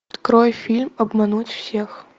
открой фильм обмануть всех